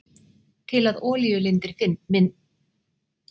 Til að olíulindir myndist þarf ýmsum skilyrðum að vera fullnægt.